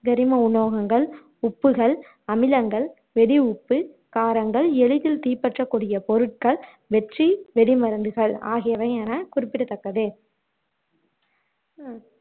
கரிம உலோகங்கள், உப்புகள், அமிலங்கள், வெடி உப்பு காரங்கள் எளிதில் தீப்பற்றக்கூடிய பொருட்கள் வெற்றி வெடி மருந்துகள் ஆகியவை என குறிப்பிடத்தக்கது